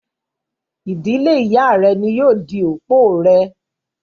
dílé Ìyá rẹ ni yóò di òpó rẹ.